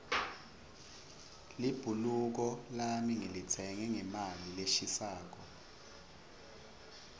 libhuluko lami ngilitsenge ngemali leshisako